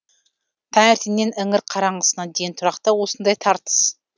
таңертеңнен іңір қараңғысына дейін тұрақта осындай тартыс